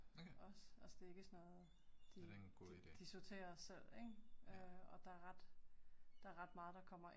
Okay. Ja det en god ide. Ja